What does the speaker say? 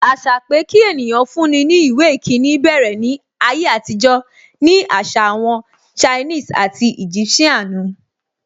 Àṣà pé kí ènìyàn fún ní ìwé ìkíni bẹ̀rẹ̀ ní ayé àtijọ́ ni àṣà àwọn Chinese and Egyptian nu.